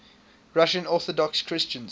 russian orthodox christians